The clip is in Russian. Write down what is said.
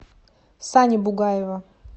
сани бугаева